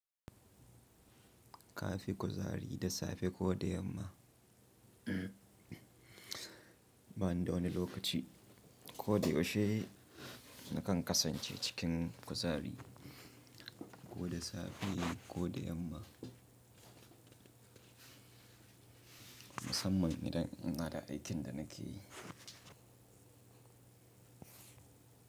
Kafi kuzari da safe ko da yamma? Ba ni da wani lokaci ko da yaushe na kan kasance cikin kuzari ko da safe ko da yamma musamman idan ina da aikin da nake yi.